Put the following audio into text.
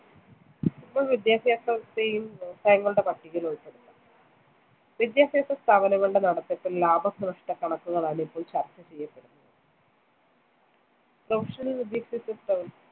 ഇപ്പോൾ വിദ്യാഭ്യാസത്തെയും വ്യവസായങ്ങളുടെ പട്ടികയിൽ ഉൾപ്പെടു. വിദ്യാഭ്യാസ സ്ഥാപനങ്ങളുടെ നടത്തിപ്പിൽ ലാഭനഷ്ട കണക്കുകളാണ്‌ ഇപ്പോൾ ചർച്ച ചെയ്യപ്പെടുന്നത്‌. Professional വിദ്യാഭ്യാസ